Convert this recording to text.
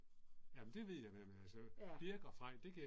Jamen det ved jeg hvem er, så Birk og Frej det kan